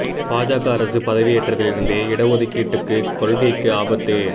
பாஜக அரசு பதவியேற்றதிலிருந்தே இட ஒதுக்கீடுக் கொள்கைக்கு ஆபத்து